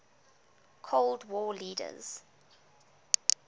cold war leaders